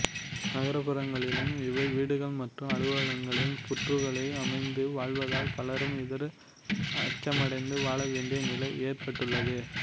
நகர்ப் புறங்களிலும் இவை வீடுகள் மற்றும் அலுவலகங்களில் புற்றுக்களை அமைத்து வாழ்வதால் பலரும் இதற்கு அச்சமடைந்து வாழவேண்டிய நிலை ஏற்பட்டுள்ளது